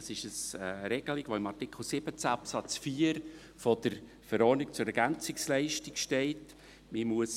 Dies ist eine Regelung, welche in Artikel 17 Absatz 4 der Verordnung über die Ergänzungsleistungen zur Alters-, Hinterlassenen- und Invalidenversicherung (ELV) steht.